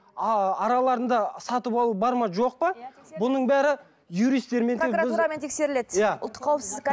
араларында сатып алу бар ма жоқ па бұның бәрі юристтермен прокуратурамен тексеріледі иә ұлттық қауіпсіздік